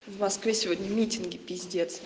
в москве сегодня митинги пиздец